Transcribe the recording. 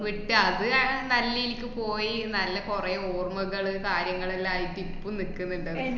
വിട്ട് അത് ആഹ് നല്ലെനിക്ക് പോയി നല്ല കൊറേ ഓർമ്മകള് കാര്യങ്ങളെല്ലായിട്ട് ഇപ്പൊ നിക്ക്ന്ന്ണ്ട്.